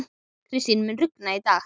Kristý, mun rigna í dag?